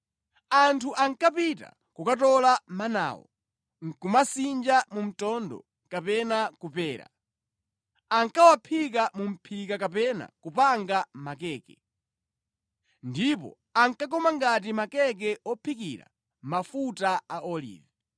Anthu ankapita kukatola manawo, nʼkumasinja mu mtondo kapena kupera. Ankawaphika mu mʼphika kapena kupanga makeke. Ndipo ankakoma ngati makeke ophikira mafuta a olivi.